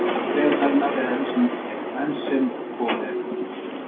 Ástand tegundarinnar er enn sem komið er gott.